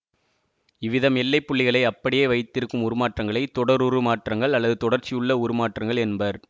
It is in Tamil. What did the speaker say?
இவ்விதம் எல்லை புள்ளிகளை அப்படியே வைத்திருக்கும் உருமாற்றங்களை தொடருருமாற்றங்கள் அல்லது தொடர்ச்சியுள்ள உருமாற்றங்கள் என்பர்